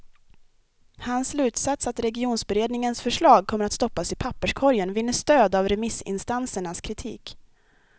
Hans slutsats att regionberedningens förslag kommer att stoppas i papperskorgen vinner stöd av remissinstansernas kritik.